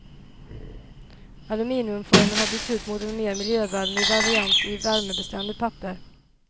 Aluminiumformen har bytts ut mot en mer miljövänlig variant i värmebeständigt papper.